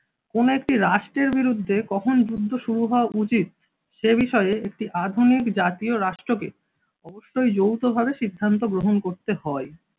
কোন একটি রাষ্ট্রের বিরুদ্ধে কখন যুদ্ধ শুরু হওয়া উচিত সে বিষয়ে একটি আধুনিক জাতীয় রাষ্ট্রকে অবশ্যই যৌথভাবে সিদ্ধান্ত গ্রহণ করতে হয়।